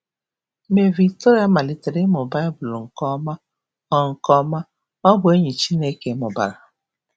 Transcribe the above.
Mgbe Victoria malitere ịmụ Baịbụl nke ọma, ọ nke ọma, ọ bụ enyi Chineke mụbara.